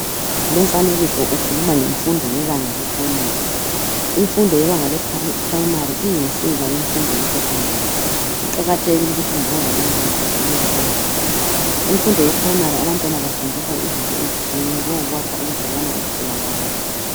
Lumfanekiso ukhuluma ngemfundo yebanga lePrimary. Imfundo yebanga lePrimary iyinsika yemfundo yeSecondary, kuqakathekile ukuthi ngulo lalo mntwana adlule kulelibanga. Kumfundo yePrimary abantwana bafundiswa izinto ezitshiyeneyo njengokwakha ubudlelwano ubuhle labanye.